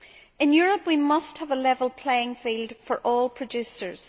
In Europe we must have a level playing field for all producers.